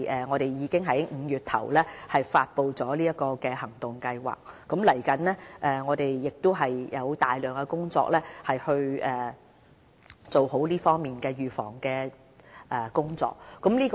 我們已在5月初發布了這個行動計劃，接下來我們有大量這方面的預防工作需要處理。